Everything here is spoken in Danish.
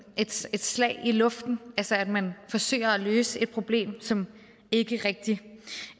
et slag i luften altså at man forsøger at løse et problem som ikke rigtig